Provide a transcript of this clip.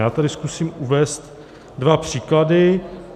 Já tady zkusím uvést dva příklady.